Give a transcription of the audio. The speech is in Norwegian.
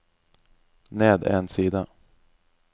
ned en side